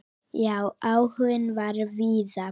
Já, áhuginn var víða.